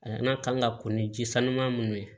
N'a kan ka ko ni ji sanuman minnu ye